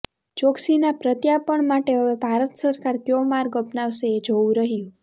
ચોકસીના પ્રત્યાર્પણ માટે હવે ભારત સરકાર ક્યો માર્ગ અપનાવશે એ જોવું રહ્યું